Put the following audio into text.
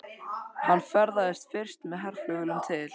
Hann ferðaðist fyrst með herflugvélum til